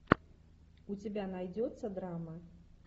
у тебя найдется драма